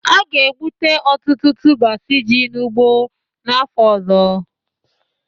A ga-egbute ọtụtụ tubers ji n'ugbo n'afọ ọzọ